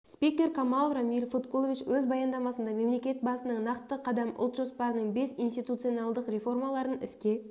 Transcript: спикер камалов рамиль фаткулович өз баяндамасында мемлекет басның нақты қадам ұлт жоспарының бес институционалдық реформаларын іске